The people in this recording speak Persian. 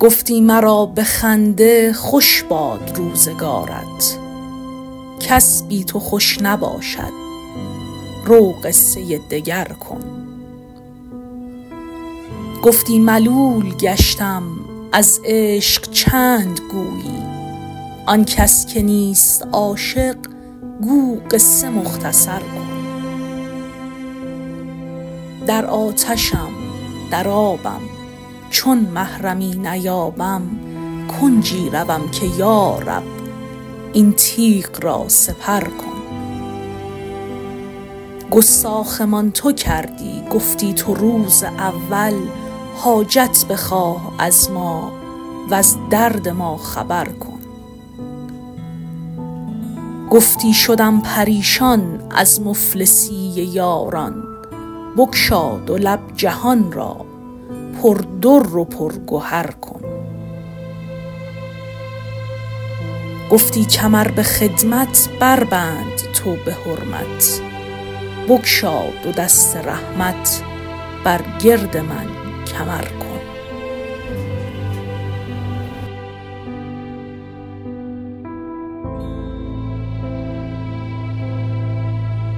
گفتی مرا به خنده خوش باد روزگارت کس بی تو خوش نباشد رو قصه دگر کن گفتی ملول گشتم از عشق چند گویی آن کس که نیست عاشق گو قصه مختصر کن در آتشم در آبم چون محرمی نیابم کنجی روم که یا رب این تیغ را سپر کن گستاخمان تو کردی گفتی تو روز اول حاجت بخواه از ما وز درد ما خبر کن گفتی شدم پریشان از مفلسی یاران بگشا دو لب جهان را پردر و پرگهر کن گفتی کمر به خدمت بربند تو به حرمت بگشا دو دست رحمت بر گرد من کمر کن